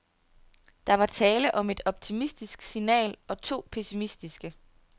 Der var tale om et optimistisk signal og to pessimistiske.